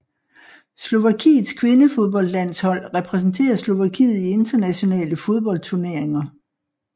Slovakiets kvindefodboldlandshold repræsenterer Slovakiet i internationale fodboldturneringer